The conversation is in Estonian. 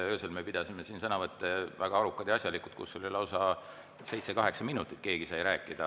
Öösel me pidasime siin sõnavõtte, need olid väga arukad ja asjalikud ning oli lausa nii, et seitse-kaheksa minutit sai keegi rääkida.